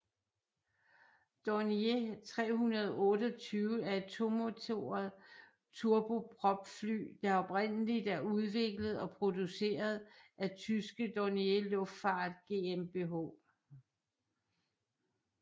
Dornier 328 er et tomotoret turbopropfly der oprindeligt er udviklet og produceret af tyske Dornier Luftfahrt GmbH